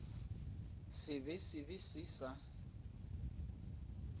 se be se se sa